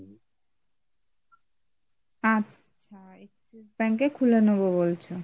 আচ্ছা axis bank এ খুলে নেবো বলছো ?